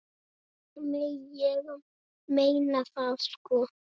Nei, ég meina það sko.